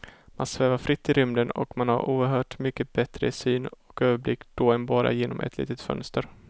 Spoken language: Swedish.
Man svävar fritt i rymden och man har oerhört mycket bättre syn och överblick då än bara genom ett litet fönster.